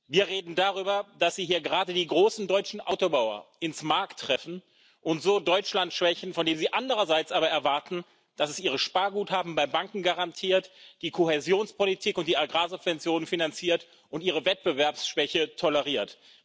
Wir reden darüber, dass Sie hier gerade die großen deutschen Autobauer ins Mark treffen und so Deutschland schwächen, von dem sie andererseits aber erwarten, dass es ihre Sparguthaben bei Banken garantiert, die Kohäsionspolitik und die Agrarsubventionen finanziert und ihre Wettbewerbsschwäche toleriert.